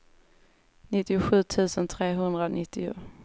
nittiosju tusen trehundranittio